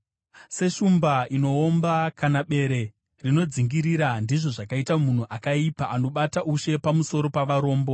Seshumba inoomba, kana bere rinodzingirira, ndizvo zvakaita munhu akaipa anobata ushe pamusoro pavarombo.